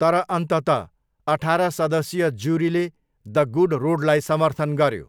तर अन्ततः, अठार सदस्यीय जुरीले द गुड रोडलाई समर्थन गऱ्यो।